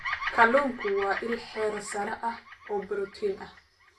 Kalluunku waa il heer sare ah oo borotiin ah.